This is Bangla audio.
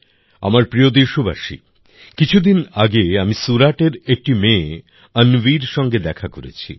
আমার প্রিয় দেশবাসী কিছুদিন আগে আমি সুরাটের একটি মেয়ে অন্বির সঙ্গে দেখা করেছি